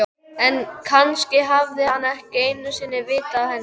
En kannski hafði hann ekki einu sinni vitað af henni.